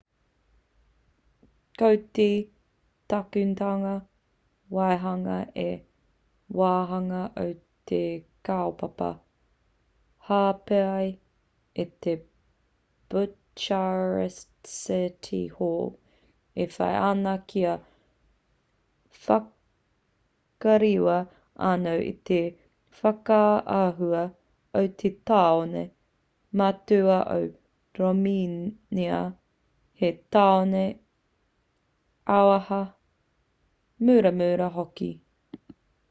ko te takunetanga waihanga he wāhanga o te kaupapa hāpai a te bucharest city hall e whai ana kia whakarewa anō i te whakaahua o te tāone matua o romēnia hei tāone auaha muramura hoki